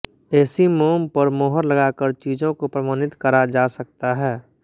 ऐसी मोम पर मोहर लगाकर चीज़ों को प्रमाणित करा जा सकता है